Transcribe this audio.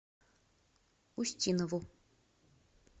устинову